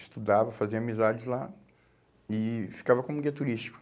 Estudava, fazia amizades lá e ficava como guia turístico.